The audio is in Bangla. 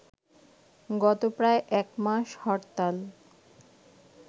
গত প্রায় এক মাস হরতাল